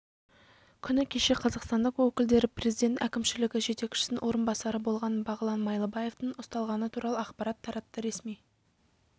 күні кеше қазақстандық өкілдері президент әкімшілігі жетекшісінің орынбасары болған бағлан майлыбаевтың ұсталғаны туралы ақпарат таратты ресми